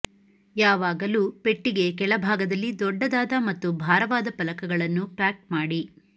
ಯಾವಾಗಲೂ ಪೆಟ್ಟಿಗೆಯ ಕೆಳಭಾಗದಲ್ಲಿ ದೊಡ್ಡದಾದ ಮತ್ತು ಭಾರವಾದ ಫಲಕಗಳನ್ನು ಪ್ಯಾಕ್ ಮಾಡಿ